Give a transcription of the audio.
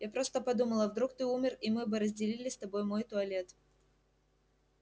я просто подумала вдруг ты умер и мы бы разделили с тобой мой туалет